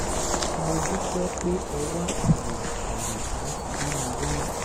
mo dúpẹ́ pé ẹ wá àyè àyè láti dá mi lóhùn